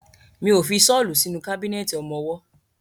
Mi ó fi ṣọ́lù sínú kábínẹ̀tì ọmọwọ́.